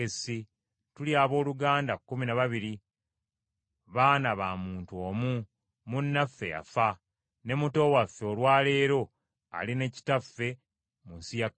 tuli abooluganda kumi na babiri, baana ba muntu omu, munnaffe yafa, ne muto waffe olwa leero ali ne kitaffe mu nsi ya Kanani.